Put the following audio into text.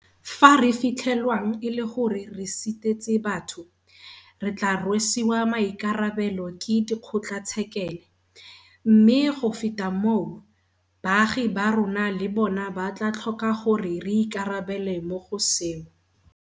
Fa re fitlhelwang e le gore re sitetse batho, re tla rwesiwa maikarabelo ke dikgotlatshekele, mme go feta moo, baagi ba rona le bona ba tla tlhoka gore re ikarabele mo go seo.